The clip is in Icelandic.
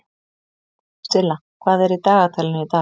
Silla, hvað er í dagatalinu í dag?